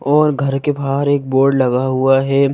और घर के बाहर एक बोर्ड लगा हुआ है।